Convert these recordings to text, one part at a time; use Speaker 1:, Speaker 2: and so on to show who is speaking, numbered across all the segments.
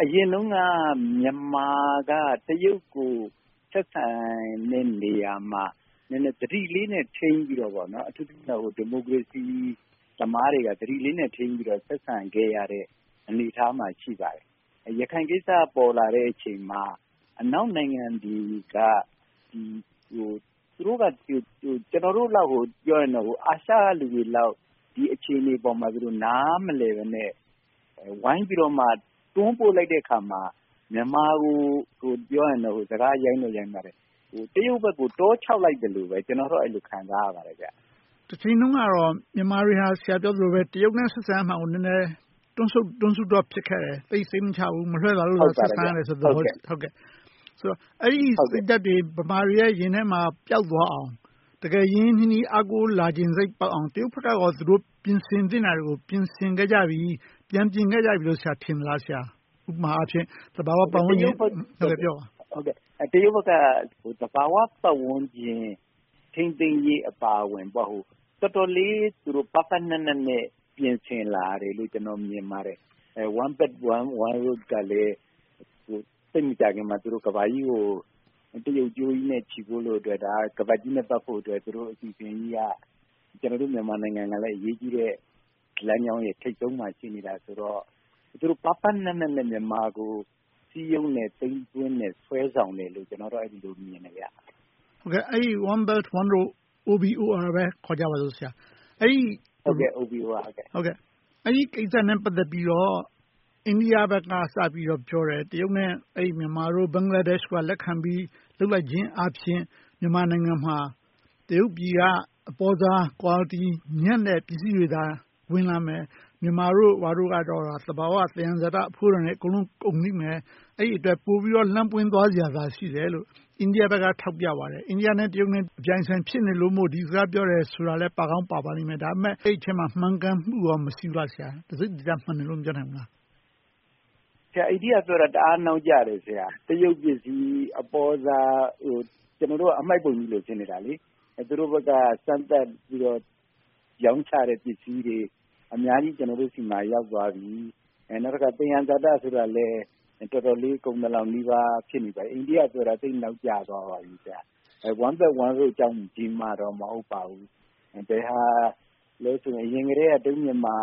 Speaker 1: အရင်တုန်းက မြန်မာက တရုတ်ကို ဆက်ဆံတဲ့နေရာမှာ ဒီမိုကရေစီသမားတွေက သတိလေးနဲ့ ထိန်းပြီးတော့ ဆက်ဆံခဲ့ရတဲ့ အနေအထားမှာ ရှိပါတယ်။ ရခိုင်ကိစ္စ ပေါ်လာတဲ့အချိန်မှာ အနောက်နိုင်ငံတွေက ကျနော်တို့ အာရှလူတွေလောက် ဒီအခြေအနေပေါ် နားမလည်ဘဲနဲ့ ဝိုင်းပြီးတော့ တွန်းပို့လိုက်တဲ့အခါမှာ မြန်မာကို တရုတ်ဘက်ကို တွန်းချလိုက်သလိုပဲ ကျနော်တော့ အဲဒီလို ခံစားရပါတယ်။
Speaker 2: တချိန်တုန်းက ဆရာပြောသလို မြန်မာတွေဟာ တရုတ်နဲ့ ဆက်ဆံရာမှာကို တွန့်ဆုတ်တွန့်ဆုတ် ဖြစ်ခဲ့တယ်။ သိပ်စိတ်မချဘူး။ မလွှဲသာလို့ ဆက်ဆံကြတဲ့ သဘောရှိတယ်။ အဲဒီစိတ်ဓါတ်တွေ ဗမာတွေရဲ့ ရင်ထဲမှာ ပျောက်သွားအောင် တကယ်ရင်းရင်းနှီးနှီးနဲ့ အားကိုးချင်စိတ်ပေါက်လာအောင် တရုတ်ဘက်က ပြင်ဆင်သင့်တာတွေကို ပြင်ဆင်ခဲ့ကြပြီ။ ပြန်ပြင်ခဲ့ကြပြီလို့ ဆရာ ထင်သလား။ ဥပမာ သဘာဝပတ်ဝန်းကျင်..
Speaker 1: တရုတ်တို့ဘက်က သဘာဝပတ်ဝန်းကျင် ထိန်းသိမ်းရေး အပါအဝင် တော်တော်လေး ပါးပါးနပ်နပ်နဲ့ ပြင်ဆင်လာတယ်လို့ ကျနော် မြင်ပါတယ်။ One Belt One Road ကလည်း သိပ်မကြာခင်မှာ ကမ္ဘာကြီးကို တရုတ်ကြိုးနဲ့ ချည်းဖို့အတွက်၊ ခါးပတ်ကြီးနဲ့ ပတ်ဖို့အတွက်က ကျနော်တို့ မြန်မာနိုင်ငံကလည်း သိပ်အရေးကြီးတဲ့ လမ်းကြောင်းရဲ့ ထိပ်ဆုံးမှာ ရှိနေတယ်ဆိုတော့ သူတို့ ပါးပါးနပ်နပ်နဲ့ မြန်မာကို စည်းရုံးနဲ့စိတ်နဲ့ ဆွဲဆောင်တယ်လို့ ကျနော် မြင်တယ်။
Speaker 2: အဲဒီ One Belt One Road ကို OBOR လို့ပဲ ခေါ်ကြတာပေါ့။ အဲဒီကိစ္စနဲ့ ပတ်သက်ပြီးတော့ အိန္ဒိယဘက်က စပြီးတော့ပြောတယ် တရုတ်နဲ့ မြန်မာတို့၊ ဘင်္ဂလားဒေ့ရှ်တို့က လက်ခံပြီး လုပ်လိုက်ခြင်းအားဖြင့် မြန်မာနိုင်ငံမှာ တရုတ်ပြည်ဘက်က အပေါစား Quality ညံ့ဖျင်းတဲ့ ပစ္စည်းတွေသာ ဝင်လာမယ်။ မြန်မာဘက်ကတော့ သဘာဝသယံဇာတ အဖိုးတန်ပစ္စည်းတွေ ကုန်လိမ့်မယ်။ အဲဒီအတွက် ပိုပြီးတော့ လမ်းပွင့်သွားစရာသာရှိတယ်လို့ အိန္ဒိယဘက်က ထောက်ပြပါတယ်။ အိန္ဒိယနဲ့ တရုတ်တို့ အပြိုင်အဆိုင် ဖြစ်နေလို့မို့ ဒီစကားပြောတာလည်း ဖြစ်ကောင်းဖြစ်နိုင်ပါတယ်။ အဲဒီအထဲမှာ မှန်ကန်မှုကော မရှိဘူးလား။ တစိတ်တဒေသ မှန်တယ်လို့ မပြောနိုင်ဘူးလား။
Speaker 1: အိန္ဒိယပြောတာ တအားနောက်ကျတယ်။ တရုတ်ပစ္စည်း အပေါစားတွေနဲ့ ကျနော်တို့က အမှိုက်ပုံကြီး ဖြစ်နေတာ။ သူတို့ဘက်က စမ်းသပ်ပြီးတော့ ရောင်းချတဲ့ပစ္စည်းတွေ ကျနော်တို့ဆီမှာ အများကြီး ရောက်သွားပြီ။ နောက်တခါ သယံဇာတဆိုတာလည်း တော်တော်လေး ကုန်သလောက်နီးပါး ဖြစ်သွားပြီ။ အိန္ဒိယပြောတာ သိပ်နောက်ကျသွားပါပြီ။ One Belt One Road ကြောင့်တော့ မဟုတ်ပါဘူး။ အရင်ကတည်းက တရုတ်-မြန်မာ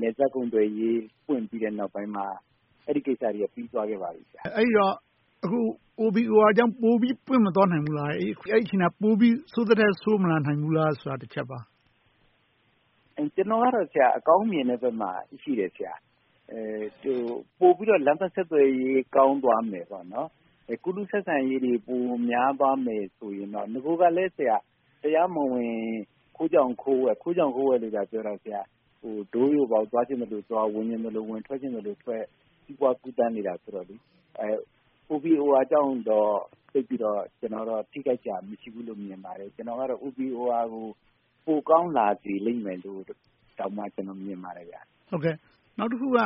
Speaker 1: နယ်စပ်ကုန်သွယ်ရေး ဖွင့်ပြီးတဲ့နောက်ပိုင်းမှာ အဲဒီကိစ္စတွေက ပြီးသွားခဲ့ပါပြီ။
Speaker 2: အဲဒီတော့ OBOR ကြောင့် ပိုပြီးတော့ ပွင့်မသွားနိုင်ဘူးလား။ ပိုပြီးတော့ ဆိုးသထက် ဆိုးမလာနိုင်ဘူးလား။ အဲဒီ တချက်ပါ။
Speaker 1: ကျနော်ကတော့ အကောင်းမြင်တဲ့ဘက်မှာ ရှိတယ်။ ပိုပြီးတော့ လမ်းပန်းဆက်သွယ်ရေး ကောင်းသွားမယ်။ ကူးလူးဆက်ဆံရေးတွေ ပိုများသွားမယ်ဆိုရင်တော့ နဂိုကလည်း တရားမဝင် ခိုးကြောင်ခိုးဝှက် - ခိုးကြောင်ခိုးဝှက်တွေသာပြောတာ - တိုးလျှိုပေါက် သွားချင်သလိုသွား၊ ထွက်ချင်သလိုထွက် စီးပွားကူးသန်းနေတယ်ဆိုတော့ OBOF ကြောင့်တော့ သိပ်ပြီးတော့ ထိခိုက်စရာ အကြောင်းမရှိဘူးလို့ မြင်ပါတယ်။ OBOR ကို ပိုကောင်းလာစေမယ်လို့ အဲဒီလို မြင်ပါတယ်။
Speaker 2: နောက်တခုက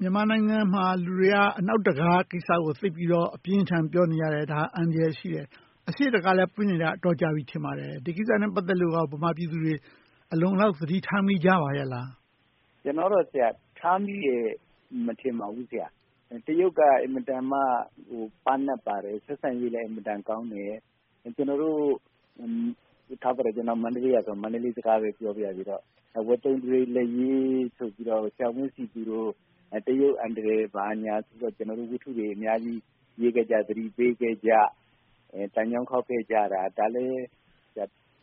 Speaker 2: မြန်မာနိုင်ငံမှာ လူတွေက အနောက်တခံခါးကိစ္စကို သိပ်ပြီးတော့ အပြင်းအထန် ပြောနေကြတယ်။ ဒါက အန္တရာယ်ရှိတယ်။ အရှေ့တံခါးလည်း ပွင့်နေတာ အတော်ကြာနေပြီ ထင်ပါတယ်။ ဒီကိစ္စနဲ့ ပတ်သက်လို့ မြန်မာပြည်သူတွေ အလုံအလောက် သတိထားမိကြပါရဲ့လား။
Speaker 1: ကျနော်အမြင် သတိထားမိတယ် မထင်ပါဘူး။ တရုတ်က အင်မတန်မှ ပါးနပ်ပါတယ်။ ဆက်ဆံရေးလည်း အင်မတန်ကောင်းတယ်။ ကျနော်က မန္တလေးကဆိုတော့ မန္တလေးစကားပဲ ပြောပါရစေတော့... တရုတ်အန္တရာယ် ဘာညာဆိုပြီးတော့ ရေးခဲ့ကြ၊ သတိပေးခဲ့ကြနဲ့ သံချောင်းခေါက်ခဲ့ကြတာလည်း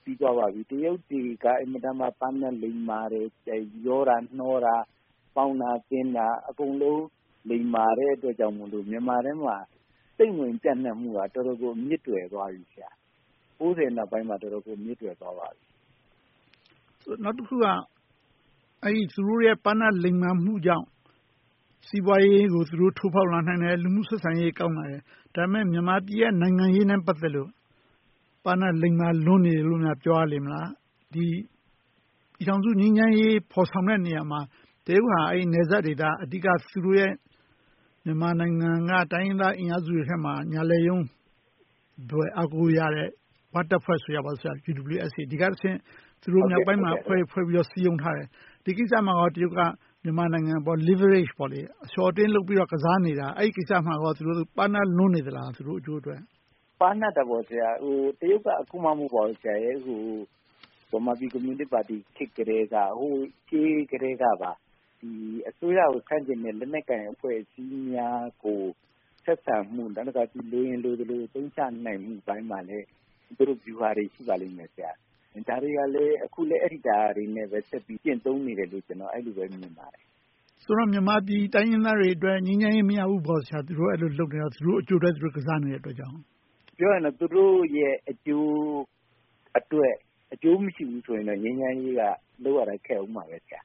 Speaker 1: ပြီးသွားပါပြီ။ တရုတ်ပြည်က အင်မတန်မှ ပါးနပ်ပါတယ် - ရောတာနှောတာ၊ ပေါင်းတာသင်းတာ အကုန်လုံး လိမ္မာတဲ့အတွက်ကြောင့်မို့ မြန်မာထဲမှာ စိမ့်ဝင်ပျံ့နှံ့မှုက တော်တော်ကို အမြစ်တွယ်သွားပြီ။ ၉၀ နောက်ပိုင်းမှာ တော်တော်ကို အမြစ်တွယ်သွားပါပြီ။
Speaker 2: နောက်တခုက သူတို့ရဲ့ ပါးနပ်လိမ္မာမှုကြောင့် စီးပွားရေးကို သူတို့ ထိုးဖောက်လာနိုင်တယ်။ လူမှုရေးဆက်ဆံရေး ကောင်းလာတယ်။ ဒါပေမဲ့ မြန်မာပြည်ရဲ့ နိုင်ငံရေးနဲ့ ပတ်သက်လို့ ပါးနပ်လိမ္မာလွန်တယ်လို့ ပြောရလေမလား။ ပြည်ထောင်စု ငြိမ်းချမ်းရေး ဖော်ဆောင်တဲ့ နေရာမှာ တရုတ်ဟာ နယ်စပ်ဒေသ အဓိက သူတို့ရဲ့ မြန်မာနိုင်ငံက တိုင်းရင်းသားအင်အားစုတွေထဲမှာ ညာလက်ရုံးလို အားကိုးရတဲ့ ‘ဝ’ တပ်ဖွဲ့ UWSA က တဆင့် မြောက်ပိုင်းမှာ အဖွဲ့တွေဖွဲ့ပြီးတော့ စည်းရုံးထားတယ်။ ဒီကိစ္စမှာကော တရုတ်က မြန်မာနိုင်ငံအပေါ် leverage အလျှော့အတင်းလုပ်ပြီးတော့ ကစားနေတာ - ဒီကိစ္စမှာကော တရုတ်တို့ သူတို့ အကျိုးအတွက် ပါးနပ်လွန်နေလား။
Speaker 1: ပါးနပ်တာပေါ့။ တရုတ်က အခုမှ မဟုတ်ပါဘူး။ ဗမာပြည်ကွန်မြူနစ်ပါတီ ခေတ်ကတည်းကအစိုးရကို ဆန့်ကျင်တဲ့ လက်နက်ကိုင်အဖွဲ့အစည်းများကို ဆက်ဆံပြီး လိုရင်လိုသလို အသုံးချနိုင်မယ့် ဗျူဟာတွေ ရှိပါတယ်။ ဒါတွေနဲ့ပဲ အခုလဲအဲဒီအတိုင်း ကျင့်သုံးနေတယ်လို့ အဲဒီလိုပဲ မြင်ပါတယ်။
Speaker 2: ဆိုတော့ မြန်မာပြည်တိုင်းရင်းသားတွေအတွက် ငြိမ်းချမ်းရေး မရဘူးပေါ့။ သူတို့က အဲဒီလို သူတို့အကျိုးအတွက် သူတို့ ကစားနေတဲ့အတွက်ကြောင့်…
Speaker 1: ပြောရင်တော့ သူတို့ရဲ့ အကျိုးအတွက် အကျိုးမရှိဘူးဆိုရင်တော့ ငြိမ်းချမ်းရေးက လုပ်ရတာ ခက်အုံးမယ်။ ဒါ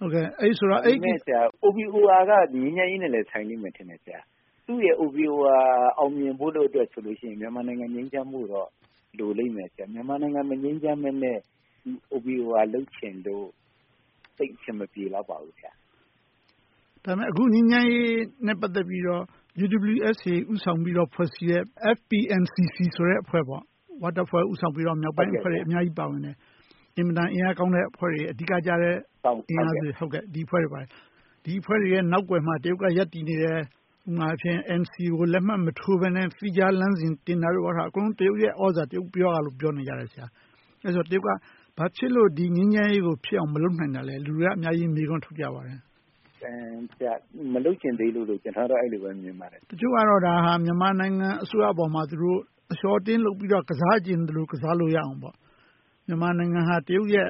Speaker 1: ပေမဲ့ OBOR က ငြိမ်းချမ်းရေးနဲ့လည်း ဆိုင်လိမ့်မယ်ထင်တယ်။ သူ့ရဲ့ OBOR အောင်မြင်ဖို့လို့အတွက်ဆိုရင် မြန်မာနိုင်ငံ ငြိမ်းချမ်းဖို့တော့ လိုလိမ့်မယ်။ မြန်မာနိုင်ငံ မငြိမ်းချမ်းဘဲနဲ့ OBOR လုပ်ချင်လို့ သိပ်အဆင်မပြေလောက်ပါဘူး။
Speaker 2: ဒါပေမဲ့ အခု ငြိမ်းချမ်းရေးနဲ့ ပတ်သက်လို့ UWSA ဦးဆောင်ပြီးတော့ ဖွဲ့စည်းထားတဲ့ FPNCC အဖွဲ့ - ‘ဝ’တပ်ဖွဲ့ ဦးဆောင်ပြီးတော့ မြောက်ပိုင်းအဖွဲ့တွေ အများကြီးပါဝင်တယ်။ အင်မတန် အင်အားကောင်းတဲ့ အဖွဲ့တွေ။ အဓိကကျတဲ့ အင်အားတွေ။ ဒီအဖွဲ့တွေရဲ့ နောက်ကွယ်မှာ တရုတ်က ရပ်တည်နေတယ်။ ဥပမာ NCA ကို လက်မှတ်မထိုးဘဲနဲ့ သီးခြားလမ်းစဉ် တင်တာတို့ - အကုန်လုံး တရုတ်ရဲ့ လမ်းစဉ်၊ သြဇာ၊ တရုတ်ပြောလို့ဆိုပြီး ပြောနေကြတယ်။ အဲဒီတော့ တရုတ်က ဘာဖြစ်လို့ ဒီငြိမ်းချမ်းရေးကို ဖြစ်အောင် မလုပ်နိုင်တာလဲ။ လူတွေက အများကြီး မေးခွန်းထုတ်ကြပါတယ်။
Speaker 1: မလုပ်ချင်သေးလို့လို့ ကျနော်က အဲဒီလိုပဲ မြင်ပါတယ်။
Speaker 2: တချို့ကတော့ ဒါဟာ မြန်မာနိုင်ငံ အစိုးရအပေါ်မှာ သူတို့ အလျှော့အတင်း လုပ်ပြီးတော့ ကစားချင်သလို ကစားလို့ရအောင်။ မြန်မာနိုင်ငံဟာ တရုတ်ရဲ့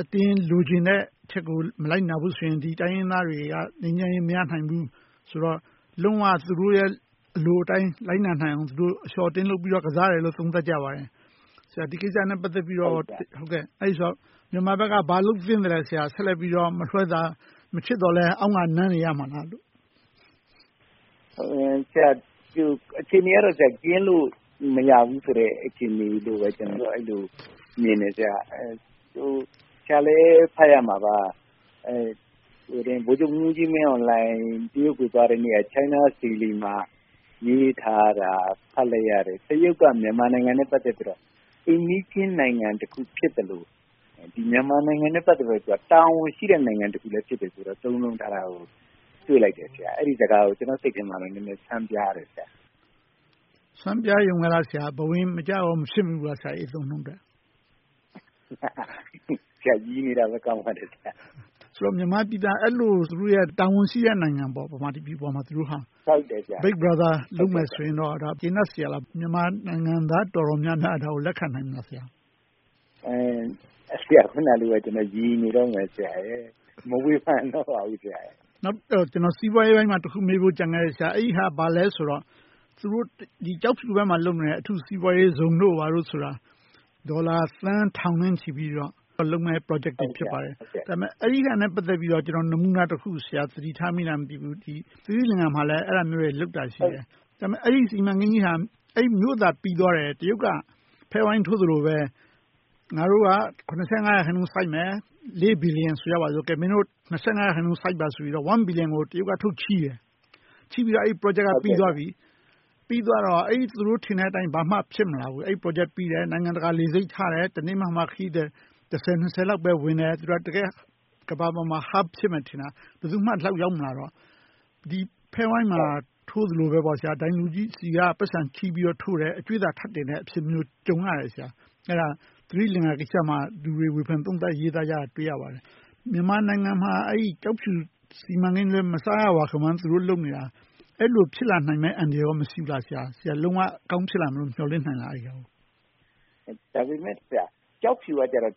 Speaker 2: အတင်းလိုချင်တဲ့အချက်ကို မလိုက်နာဘူးဆိုရင် ဒီတိုင်းရင်းသားတွေက ငြိမ်းချမ်းရေး မရနိုင်ဘူးဆိုတော့ လုံးဝ သူတို့ရဲ့ အလိုအတိုင်း လိုက်နာနိုင်အောင် အလျှော့အတင်းလုပ်ပြီးတော့ ကစားတယ်လို့ သုံးသပ်ကြပါတယ်။ ဆရာအနေနဲ့ ဒီကိစ္စနဲ့ ပတ်သက်ပြီး မြန်မာဘက်က ဘာလုပ်သင့်သလဲ။ ဆက်လက်ပြီးတော့ မလွှဲသာ၊ မချစ်သော်လဲ အောင့်ကာနမ်းနေရမလား။
Speaker 1: အခြေအနေကတော့ ကင်းလို့မရဘူးဆိုတဲ့ အခြေအနေလို့ အဲဒီလို မြင်တယ်။ ဆရာလည်း ဖတ်ရမှာပါ - ဗိုလ်ချုပ်မှူးကြီးမင်းအောင်လှိုင် တရုတ်ကို သွားတုန်းက China Daily မှာ ရေးထားတာ ဖတ်လိုက်ရတယ်။ တရုတ်က မြန်မာနိုင်ငံနဲ့ ပတ်သက်ပြီးတော့ အိမ်နီးချင်းနိုင်ငံတခု ဖြစ်သလို၊ မြန်မာနိုင်ငံနဲ့ ပတ်သက်လို့ တာဝန်ရှိတဲ့ နိုင်ငံဖြစ်တယ်ဆိုတာကိုလည်း သုံးနှုန်းထားတာကို တွေ့လိုက်တယ်။ အဲဒီအသုံးအနှုန်းကို ကျနော်စိတ်ထဲမှာ ဆန်းပြားတယ်။
Speaker 2: ဆန်းပြားရုံပဲလား။ ဘဝင်မကျကော မဖြစ်မိဘူးလား - အဲဒီ အသုံးအနှုန်းအတွက်။
Speaker 1: ရယ်နေတာပဲ ကောင်းပါတယ်။
Speaker 2: မြန်မာပြည်သာ အဲဒီလို သူတို့ရဲ့ တာဝန်ရှိတဲ့ နိုင်ငံ - မြန်မာပြည်အပေါ်မှာ။ Big brother လုပ်မယ်ဆိုရင်တော့ ကျေနပ်စရာလား။ မြန်မာနိုင်ငံသား တော်တော်များများက ဒါကို လက်ခံနိုင်မလား။
Speaker 1: အခုနတုန်းကလိုပဲ ကျနော် ရယ်နေတုန်းပါ။ မဝေဖန်တော့ပါဘူး။
Speaker 2: စီးပွားရေးပိုင်းမှာ မေးဖို့ တခု ကျန်ခဲ့တယ်။ အဲဒါ ဘာလဲဆိုတော့ သူတို့ ကျောက်ဖြူဘက်မှာ လုပ်နေတဲ့ အထူးစီးပွားရေးဇုန်တို့ ဘာတို့ဆိုတာ ဒေါ်လာ သန်းထောင်နဲ့ချီပြီးတော့ လုပ်မယ့် Project တွေ ဖြစ်ပါတယ်။ ဒါပေမဲ အဲဒါနဲ့ ပတ်သက်ပြီးတော့ နမူနာတခု သတိထားမိလား မသိဘူး။ သီရိလင်္ကာမှာလည်း အဲဒါမျိုးတွေလုပ်တာ ရှိတယ်။ အဲဒီ စီမံကိန်းကြီးက မြို့သာပြီးသွားတယ် တရုတ်က ဖဲဝိုင်းထိုးသလိုပဲ ငါတို့က ရာခိုင်နှုန်း စိုက်မယ်။ ဘီလီယံ ဆိုကြပါစို့ - မင်းတို့က ရာခိုင်နှုန်း စိုက်ပါဆိုပြီးတော့ ဘီလီယံ ထုတ်ချေးတယ်။ ချေးပြီးတော့ အဲဒီ Project က ပြီးသွားပြီ။ ပြီးသွားတော့ သူတို့ ထင်တဲ့အတိုင်း ဘာမှ ဖြစ်မလာဘူး။ နိုင်ငံတကာ လေဆိပ်ထားတယ်။ တနေ့မှာမှ ခရီးသည် တစ်ဆယ်နှစ်ဆယ်လောက်ပဲ ဝင်တယ်။ သူတို့က ကမ္ဘာပေါ်မှာ တကယ့် Hub ဖြစ်မယ်ထင်တာ ဘယ်သူမှ ရောက်မလာတော့ ဖဲဝိုင်းမှာ ထိုးသလိုပေါ့ - ဒိုင်လူကြီးဆီက ပိုက်ဆံချေးပြီးတော့ထိုးတယ် - အကြွေသာ ထပ်တင်တဲ့သဘောမျိုး ကြုံရတယ်။ အဲဒါ သီရိလင်္ကာကိစ္စမှာ ဝေဖန်ရေးသားသုံးသပ်ကြတာကို တွေ့ရပါတယ်။ မြန်မာနိုင်ငံမှာ ကျောက်ဖြူစီမံကိန်းလည်း မစားရဝမခမ်း လုပ်နေတာ၊ အဲဒီလို ဖြစ်လာနိုင်မယ့် အန္တရာယ်ကော မရှိဘူးလား။ လုံးဝအကောင်းဖြစ်လာနိုင်မယ်လို့ မျှော်လင့်နိုင်လား။
Speaker 1: ဒါပေမဲ့ ကျောက်ဖြူက တရုတ်အ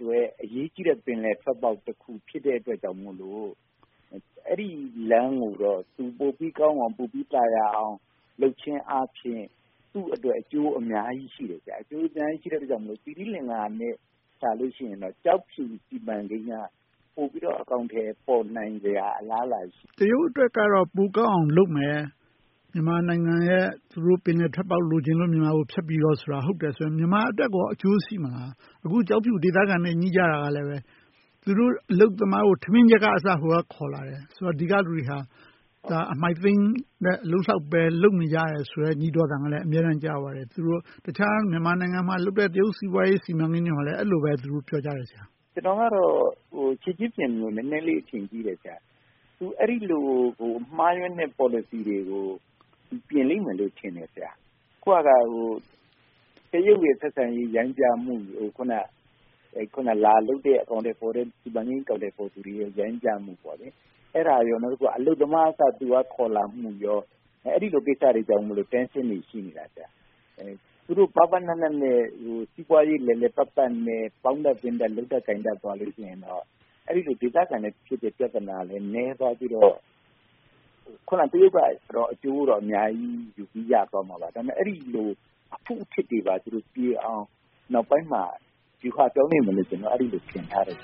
Speaker 1: တွက် အရေးကြီးတဲ့ ပင်လယ်ထွက်ပေါက်တခု ဖြစ်တဲ့အတွက်ကြောင့်မို့ အဲဒီလမ်းကိုတော့ ပိုပြီးကောင်းအောင်၊ ပိုပြီးသာယာအောင် လုပ်ခြင်းအားဖြင့် သူ့အတွက် အကျိုးအများကြီးရှိတယ်။ အကျိုးအများကြီး ရှိတဲ့အတွက် သီရိလင်္ကာနဲ့ နှိုင်းယှဉ်ရင်တော့ ကျောက်ဖြူစီမံကိန်းက ပိုပြီးတော့ အကောင်အထည် ပေါ်နိုင်စရာ အလားအလာ ရှိတယ်။
Speaker 2: တရုတ်အတွက်တော့ ပိုကောင်းအောင်လုပ်မယ်။ မြန်မာနိုင်ငံရဲ့ သူတို့ပင်လယ်ထွက်ပေါက် လိုချင်လို့ မြန်မာကို ဖြတ်ပြီးတော့ဆိုတာ ဟုတ်တယ်ဆိုရင် မြန်မာအတွက်ကော အကျိုးရှိမလား။ အခု ကျောက်ဖြူဒေသခံတွေနဲ့ ငြိ့ကြတာကလဲ သူတို့အလုပ်သမားကို ထမင်းချက်ကအစ ဟိုကခေါ်လာတယ်ဆိုတော့ ဒီကလူတွေက အမှိုက်သိမ်းတဲ့ အလုပ်လောက်ပဲ လုပ်နေရတယ်ဆိုတဲ့ ညီးတွားသံတွေလည်း အမြဲကြားရပါတယ်။ တခြားမြန်မာနိုင်ငံမှာလုပ်တဲ့ တရုတ်စီးပွားရေးတွေကိုလည်း အဲဒီလိုပဲ ပြောကြတယ်။
Speaker 1: ကျနော်ကတော့ Xi Jinping ကို နည်းနည်းလေး အထင်ကြီးတယ်။ သူ အဲဒီလို မှားယွင်းတဲ့ ပေါ်လစီတွေကို ပြင်လိမ့်မယ်ထင်တယ်။ အခုက တရုတ်ရဲ့ ဆက်ဆံရေး ရိုင်းပြမှု။ အခုန လာလုပ်တဲ့ စီမံကိန်း အကောင်အထည်ဖော်သူတွေရဲ့ ရိုင်းပြမှု။ အဲဒါရယ် အလုပ်သမားအစ ခေါ်လာမှု။ အဲဒီလို ကိစ္စတွေကြောင့် Tension တွေ ရှိနေတာ။ သူတို့ ပါးပါးနပ်နပ်၊ စီးပွားရေး လည်လည်ပတ်ပတ်နဲ့ ပေါင်းတတ်၊ သင်းတတ်၊ လုပ်တတ်သွားရင်တော့ အဲဒီလို ဒေသခံနဲ့ဖြစ်တဲ့ ပြဿနာလည်း နည်းသွားပြီးတော့ တရုတ်ကတော့ အကျိုးတော့ အများကြီးရသွားပေမယ့် အဲဒီလို အဖုအထစ်တွေပြေအောင် နောက်ပိုင်းမှာ ဗျူဟာသုံးလိမ့်မယ်လို့ အဲဒီလို ထင်ထားတယ်